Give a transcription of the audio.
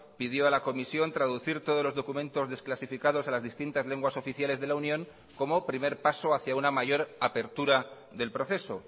pidió a la comisión traducir todos los documentos desclasificados a las distintas lenguas oficiales de la unión como primer paso hacia una mayor apertura del proceso